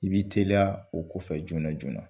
I b'i teliya o kɔfɛ joona joona